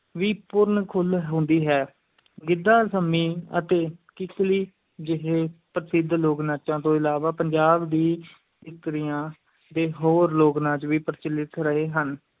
ਵੀ ਪੂਰਨ ਖੁੱਲ੍ਹ ਹੁੰਦੀ ਹੈ, ਗਿੱਧਾ, ਸੰਮੀ ਅਤੇ ਕਿੱਕਲੀ ਜਿਹੇ ਪ੍ਰਸਿੱਧ ਲੋਕ-ਨਾਚਾਂ ਤੋਂ ਇਲਾਵਾ ਪੰਜਾਬ ਦੀ ਇਸਤਰੀਆਂ ਦੇ ਹੋਰ ਲੋਕ-ਨਾਚ ਵੀ ਪ੍ਰਚਲਿਤ ਰਹੇ ਹਨ।